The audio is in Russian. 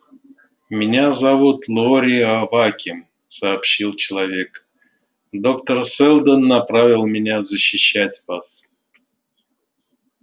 меня зовут лоре аваким сообщил человек доктор сэлдон направил меня защищать вас